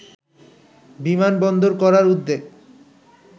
বিমানবন্দর করার উদ্যোগ